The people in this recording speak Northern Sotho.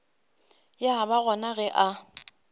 ya ba gona ge a